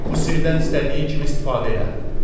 Bu sirdən istədiyin kimi istifadə elə.